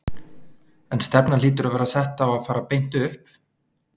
En stefnan hlýtur að vera sett á að fara beint upp?